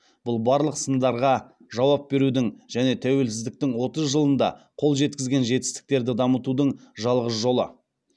бұл барлық сындарға жауап берудің және тәуелсіздіктің отыз жылында қол жеткізген жетістіктерді дамытудың жалғыз жолы